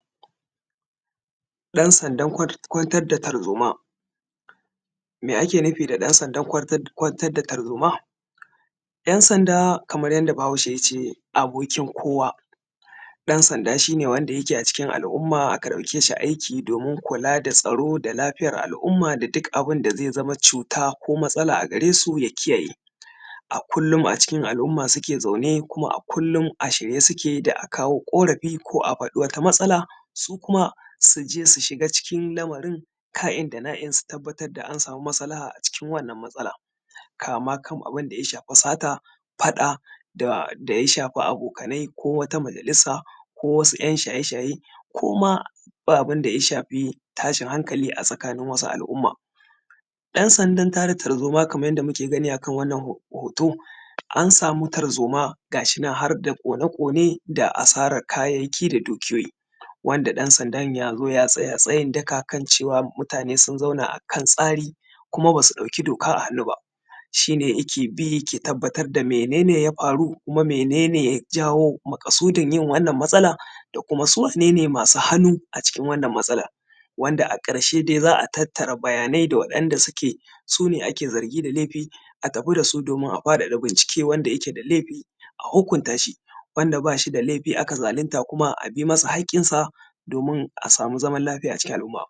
ɗan sandan kwantar da tarzoma me ake nufi da ɗan sandar kwantar da tarzoma ɗan sanda kaman yadda bahaushe ya ce abokin kowa ɗan sanda shi ne wanda yake a cikin al'umma aka ɗauke shi aiki domin kula da tsaro da lafiyar al'umma da duk abunda zai zama cuta ko matsala a gare su ya kiyaye a kullum a cikin al'umma suke zaune kuma a kullum a shirye su ke da a kawo ƙorafi ko a faɗi wata matsala su kuma su je su shiga cikin lamarin ka’in dana'in su tabbatar da an samu masalaha cikin wannan matsala kama kan abunda ya shafi sata faɗa da ya shafi abokanai ko wata majalisa ko wasu Ɂyan shaye shaye ko ma ba abunda ya shafi tashin hankali a tsakanin wasu al'umma ɗan sandar tada tarzoma kaman yadda muke gani a kan wannan hoto an samu tarzoma gashi nan harda ƙone ƙone da asarar kayayyaki da dukiyoyi wanda ɗan sandar ya zo ya tsaya tsayin daka kan cewa mutane sun zauna a kan tsari kuma ba su ɗauki doka a hannu ba shine yake bi yake tabbatar da mene ne ya faru kuma mene ne ya janyo maƙasudin yin wannan matsala da kuma su wane ne masu hannu a cikin wannan matsalan wanda a ƙarshe dai za a tattara bayanai da waɗanda suke su ne ake zargi da laifi a tafi da su domin a faɗaɗa bincike wanda yake da laifi a hukunta shi wanda ba shi da laifi aka zalinta kuma a bi masa haƙƙinsa domin a samu zaman lafiya a cikin al'umma